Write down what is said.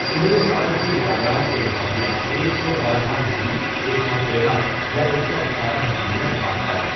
ابن سعد کی روایات کے مطابق ایک سو بارہ ھ ایک سو تیرہ یا ایک سو اٹھارہ ھ میں وفات پائی.